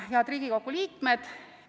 Head Riigikogu liikmed!